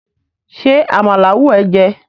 ṣe àmàlà wù e jé?